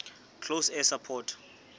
close air support